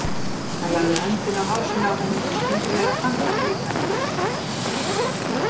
Hann lagði höndina á hálsinn á henni og skyndileg afann hann veikann púls.